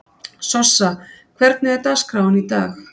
Sossa, hvernig er dagskráin í dag?